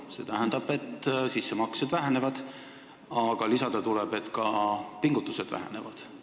See tähendab, et sissemaksed vähenevad, aga lisada tuleks, et ka pingutused vähenevad.